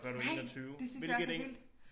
Nej det synes jeg også er vildt